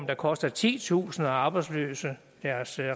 der koster titusinder af arbejdsløse deres